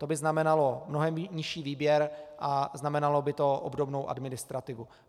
To by znamenalo mnohem nižší výběr a znamenalo by to obdobou administrativu.